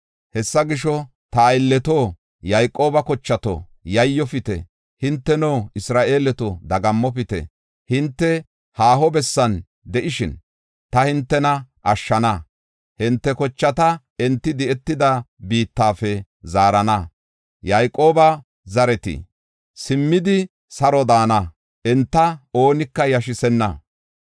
“Hessa gisho, ta aylleto, Yayqooba kochato, yayyofite. Hinteno, Isra7eeleto, dagammopite. Hinte haaho bessan de7ishin, ta hintena ashshana; hinte kochata enti di7etida biittafe zaarana. Yayqooba zareti simmidi, saro daana; enta oonika yashisenna.